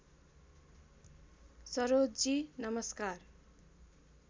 सरोजजी नमस्कार